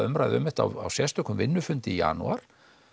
umræðu um þetta á sérstökum vinnufundi í janúar